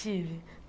Tive.